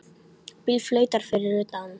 Bíll flautar fyrir utan.